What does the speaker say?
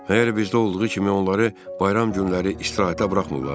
Əgər bizdə olduğu kimi onları bayram günləri istirahətə buraxmırlar?